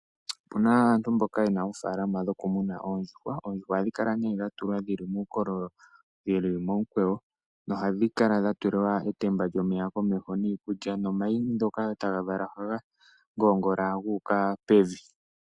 Opu na aantu mboka ye na oofaalama dhoku muna oondjuhwa. Oondjuhwa ohadhi kala nee dha tulwa dhili muukololo wu li momukweyo nohadhi kala dha tulilwa etemba lyomeya komeho niikulya, nomayi ngoka tadhi vala oha ga ngoongola gu uka pevi.